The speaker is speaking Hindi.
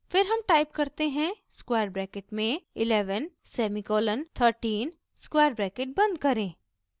फिर हम टाइप करते हैं स्क्वायर ब्रैकेट में 11 सेमीकोलन 13 स्क्वायर ब्रैकेट बंद करें